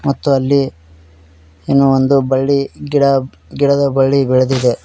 ಮತ್ತು ಅಲ್ಲಿ ಏನೋ ಒಂದು ಬಳ್ಳಿ ಗಿಡ ಗಿಡದ ಬಳ್ಳಿ ಬೆಳೆದಿದೆ.